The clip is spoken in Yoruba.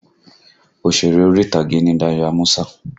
Òsèré orí ìtàgé ni Dayọ̀ Ámúsà